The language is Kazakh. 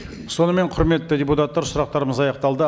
сонымен құрметті депутаттар сұрақтарымыз аяқталды